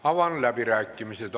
Avan läbirääkimised.